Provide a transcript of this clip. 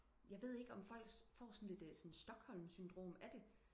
jeg ved ikke om folk får sådan lidt sådan stockholm syndrom af det